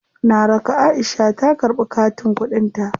Na raka Aisha ta karɓi katin kuɗin ta.